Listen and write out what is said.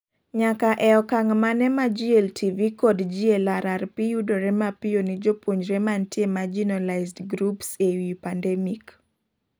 Nyaka ee okang' mane ma GLTV kod GLRRP yudore mapiyo ni jopuonjre mantie marginalized groups ee wii pandemic